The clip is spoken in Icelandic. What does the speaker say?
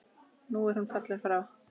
Nú er hún fallin frá.